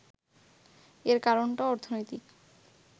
এর কারণটা অর্থনৈতিক